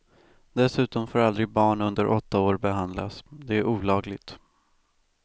Dessutom får aldrig barn under åtta år behandlas, det är olagligt.